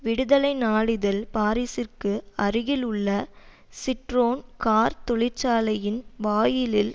விடுதலை நாழிதழ் பாரிசுக்கு அருகே உள்ள சிட்ரோன் கார் தொழிற்சாலையின் வாயிலில்